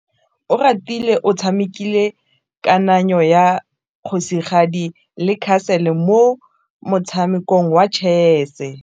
Oratile o tshamekile kananyô ya kgosigadi le khasêlê mo motshamekong wa chess.